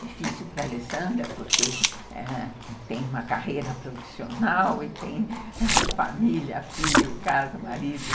Difícil para a Alessandra, porque tem uma carreira profissional e tem família, filho, casa, marido.